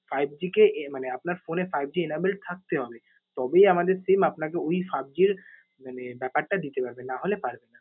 fiveG কে ইয়ে মানে আপনার phone এ fiveG enabled থাকতে হবে। তবেই আমাদের SIM আপনাকে ঐ fiveG র মানে ব্যাপারটা দিতে পারবে। নাহলে পারবে না।